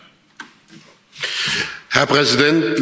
Herr Präsident, liebe Kolleginnen und Kollegen!